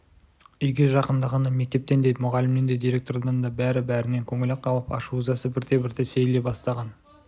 үйге жақындағанда мектептен де мұғалімнен де директордан да бәрі-бәрінен көңілі қалып ашу-ызасы бірте-бірте сейіле бастаған